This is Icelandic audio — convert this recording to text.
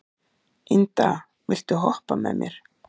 Inda, viltu hoppa með mér?